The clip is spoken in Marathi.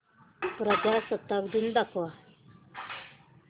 प्रजासत्ताक दिन दाखव